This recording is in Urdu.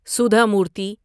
سودھا مورتی